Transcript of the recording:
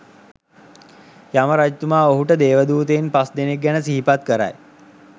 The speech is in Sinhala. යම රජතුමා ඔහුට දේවදූතයන් පස්දෙනෙක් ගැන සිහිපත් කරයි.